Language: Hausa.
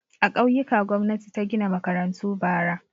A ƙauyuka gwamnati ta gina makarantu bara.